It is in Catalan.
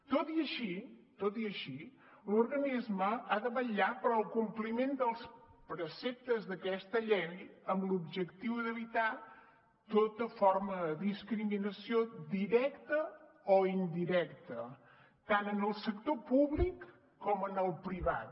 tot i així l’organisme ha de vetllar pel compliment dels preceptes d’aquesta llei amb l’objectiu d’evitar tota forma de discriminació directa o indirecta tant en el sector públic com en el privat